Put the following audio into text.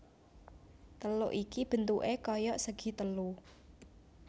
Teluk iki bentuké kaya segi telu